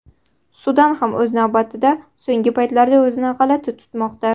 Sudan ham o‘z navbatida so‘nggi paytlarda o‘zini g‘alati tutmoqda.